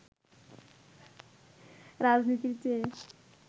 রাজনীতির চেয়ে